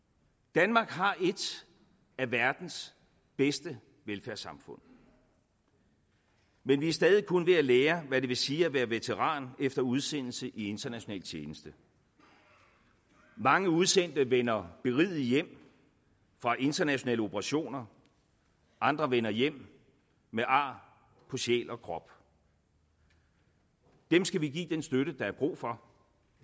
danmark har et af verdens bedste velfærdssamfund men vi er stadig kun ved at lære hvad det vil sige at være veteran efter udsendelse i international tjeneste mange udsendte vender berigede hjem fra internationale operationer andre vender hjem med ar på sjæl og krop dem skal vi give den støtte der er brug for